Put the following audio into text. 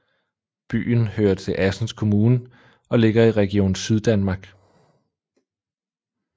Byen hører til Assens Kommune og ligger i Region Syddanmark